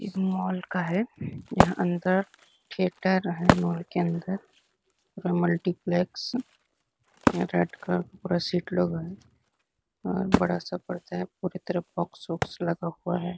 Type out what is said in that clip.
इस मॉल का है जहाँ अंदर थिएटर है मॉल के अंदर पूरा मल्टीप्लेक्स रेड कलर का पूरा सीट लगा है और बड़ा सा पर्दा है पूरी तरफ बॉक्स वाक्स लगा हुआ है ।